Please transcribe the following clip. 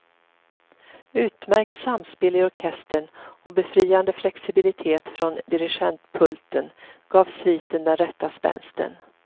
Utmärkt samspel i orkestern och befriande flexibilitet från dirigentpulten gav sviten den rätta spänsten.